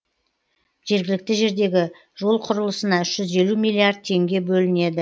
жергілікті жердегі жол құрылысына үш жүз елу миллиард теңге бөлінеді